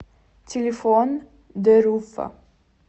телефон дэруфа